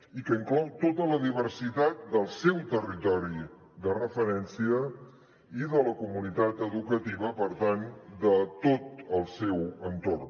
i que inclou tota la diversitat del seu territori de referència i de la comunitat educativa per tant de tot el seu entorn